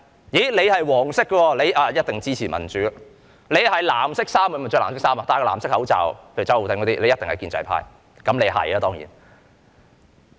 你是"黃色"的，一定支持民主；你佩戴藍色口罩就一定是建制派，例如周浩鼎議員當然一定是。